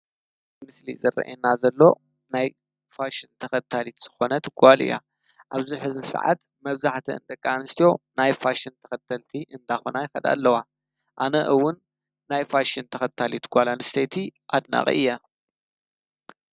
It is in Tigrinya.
እዚ ምስሊ ዝረኤና ዘሎ ናይ ፋሽን ተከታሊት ዝኾነት ጓል እያ። ኣብዚ ሕዚ ሰዓት መብዛሕቲአን ደቂ ኣንስትዮ ናይ ፋሽን ተኸተልቲ እዳኾና ይከዳ ኣለዋ ።ኣነ እውን ናይ ፋሽን ተኸታልቲ ጓል ኣንሰይቲ ኣድናቂ እየ።